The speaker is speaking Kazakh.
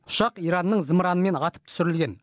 ұшақ иранның зымыранымен атып түсірілген